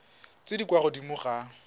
tse di kwa godimo ga